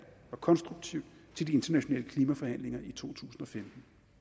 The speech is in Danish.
og konstruktivt til de internationale klimaforhandlinger i to tusind og femten